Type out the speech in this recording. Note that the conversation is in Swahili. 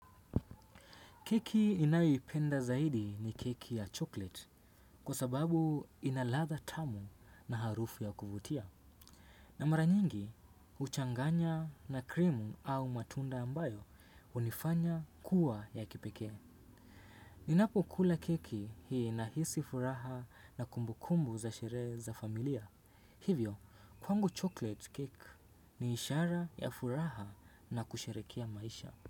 Keki inayoipenda zaidi ni keki ya chocolate kwa sababu ina ladha tamu na harufu ya kuvutia. Na mara nyingi, uchanganya na krimu au matunda ambayo unifanya kuwa ya kipekue. Ninapokula keki ninahisi furaha na kumbukumbu za sherehe za familia. Hivyo, kwangu chocolate cake, ni ishara ya furaha na kusherekea maisha.